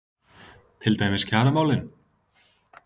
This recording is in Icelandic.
Til dæmis kjaramálin?